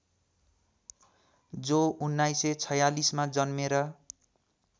जो १९४६ मा जन्मेर